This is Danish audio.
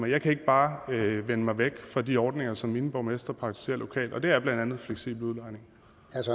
jeg kan ikke bare vende mig væk fra de ordninger som mine borgmestre praktiserer lokalt og det er blandt andet fleksibel udlejning